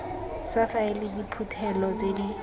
sa faele diphuthelo tse di